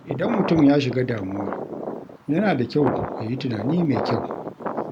Idan mutum ya shiga damuwa, yana da kyau ya yi tunani mai kyau.